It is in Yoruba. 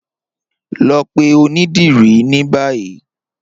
Lọ pẹ̀ ọ̀nidírí ni báyì.